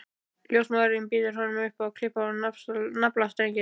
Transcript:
Ljósmóðirin býður honum að klippa á naflastrenginn.